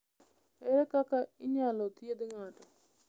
Ere kaka inyalo thiedh ng’ato?